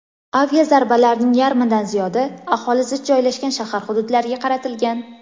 Aviazarbalarning yarmidan ziyodi aholi zich joylashgan shahar hududlariga qaratilgan.